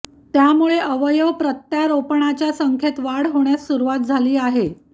त्यामुळे अवयव प्रत्यारोपणाच्या संख्येत वाढ होण्यास सुरवात झाली आहे